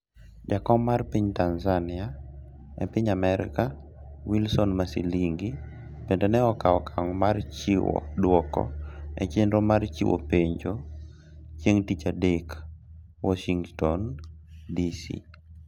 jakom mar piny Tanzania e piny Amerka, Wilson Masilingi bende ne okawo okang' mar chiwo dwoko e chenro mar chiwo penjo chieng' dich adek, Warshington, DC